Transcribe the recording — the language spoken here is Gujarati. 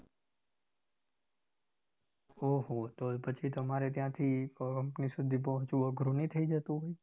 ઓહો તો પછી તમારે ત્યાંથી company સુધી પહોચવું અઘરું નહી થઇ જતું હોય